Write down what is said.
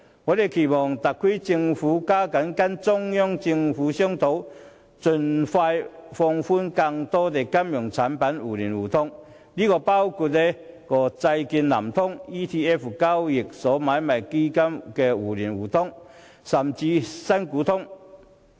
我期望特區政府加緊跟中央政府商討，盡快放寬更多金融產品互聯互通，包括債券"南向通"、交易所買賣基金互聯互通，甚至"新股通"。